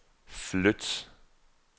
flyt